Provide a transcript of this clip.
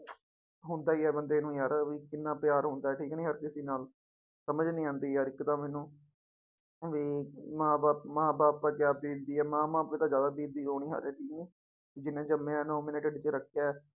ਹੁੰਦਾ ਹੀ ਹੈ ਬੰਦੇ ਨੂੰ ਯਾਰ ਵੀ ਕਿੰਨਾ ਪਿਆਰ ਹੁੰਦਾ ਠੀਕ ਨੀ ਹਰ ਕਿਸੇ ਨਾਲ, ਸਮਝ ਨੀ ਆਉਂਦੀ ਯਾਰ ਇੱਕ ਤਾਂ ਮੈਨੂੰ ਵੀ ਮਾਂ ਬਾਪ ਮਾਂ ਬਾਪ ਤੇ ਕਿਆ ਬੀਤਦੀ ਆ, ਮਾਂ ਬਾਪ ਤੇ ਤਾਂ ਜ਼ਿਆਦਾ ਬੀਤਦੀ ਹੋਣੀ ਹੈ ਜਿਹਨੇ ਜੰਮਿਆ ਨੋਂ ਮਹੀਨੇ ਢਿੱਡ ਚ ਰੱਖਿਆ ਹੈ।